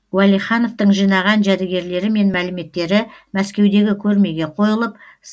уәлихановтың жинаған жәдігерлері мен мәліметтері мәскеудегі көрмеге қойылып